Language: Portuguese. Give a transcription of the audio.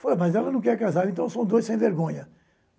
Falei, mas ela não quer casar, então são dois sem vergonha.